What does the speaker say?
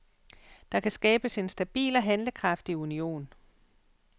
Der kan skabes en stabil og handlekraftig union.